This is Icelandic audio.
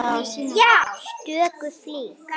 stöku flík.